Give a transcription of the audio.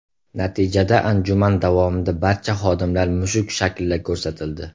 Natijada anjuman davomida barcha xodimlar mushuk shaklida ko‘rsatildi.